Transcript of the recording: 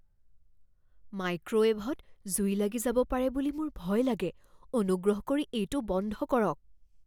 মাইক্ৰ'ৱেভত জুই লাগি যাব পাৰে বুলি মোৰ ভয় লাগে। অনুগ্ৰহ কৰি এইটো বন্ধ কৰক।